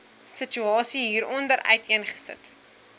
situasie hieronder uiteengesit